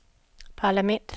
parlament